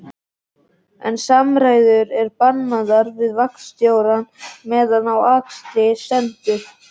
En samræður eru bannaðar við vagnstjórann meðan á akstri stendur